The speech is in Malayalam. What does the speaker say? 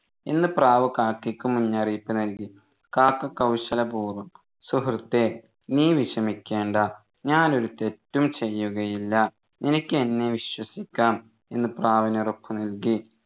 എന്ന് പ്രാവ് കാക്കയ്ക്ക് മുന്നറിയിപ്പ് നൽകി കാക്ക കൗശലപൂർവ്വം സുഹൃത്തേ നീ വിഷമിക്കേണ്ട ഞാൻ ഒരു തെറ്റും ചെയ്യുകയില്ല നിനക്ക് എന്നെ വിശ്വസിക്കാം എന്ന് പ്രാവിന് ഉറപ്പുനൽകി